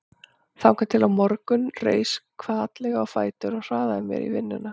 Þangað til á morgun reis hvatlega á fætur og hraðaði mér í vinnuna.